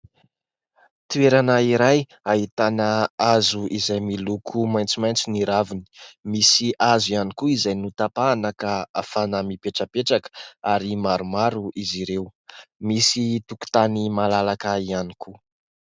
Toerana iray ahitana hazo izay miloko maitsomaitso ny raviny, misy hazo ihany koa izay notapahana ka afahana mipetrapetraka ary maromaro izy ireo, misy tokotany malalaka ihany koa.